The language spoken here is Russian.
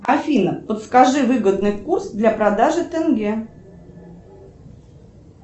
афина подскажи выгодный курс для продажи тенге